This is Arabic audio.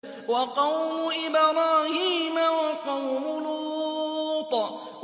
وَقَوْمُ إِبْرَاهِيمَ وَقَوْمُ لُوطٍ